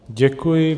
Děkuji.